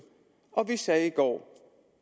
og vi sagde i går